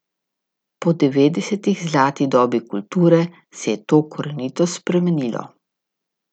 Po devetdesetih, zlati dobi kulture, se je to korenito spremenilo.